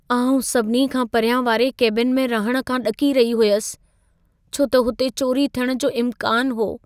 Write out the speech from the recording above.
आउं सभिनी खां परियां वारे केबिन में रहण खां ॾकी रही हुयसि, छो त हुते चोरी थियण जो इम्कान हो।